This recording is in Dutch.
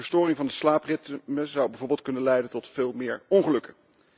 De verstoring van het slaapritme zou bijvoorbeeld kunnen leiden tot veel meer ongelukken.